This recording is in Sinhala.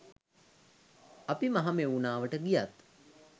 අපි මහමෙවුනාවට ගියත්